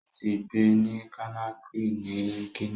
Ó ti ń gbé ní Conakry ni Guinea.